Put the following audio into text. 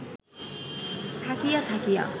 থাকিয়া থাকিয়া